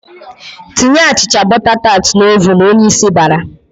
"Tinye achịcha bọta tat n'ovun!" Onyeisi bara.